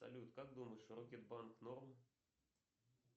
салют как думаешь рокетбанк норм